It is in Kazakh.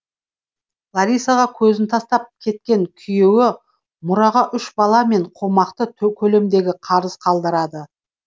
ларисаға өзін тастап кеткен күйеуі мұраға үш бала мен қомақты көлемдегі қарыз қалдырады